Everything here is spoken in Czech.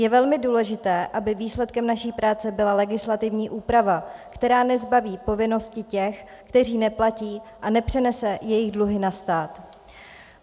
Je velmi důležité, aby výsledkem naší práce byla legislativní úprava, která nezbaví povinnosti těch, kteří neplatí, a nepřenese jejich dluhy na stát.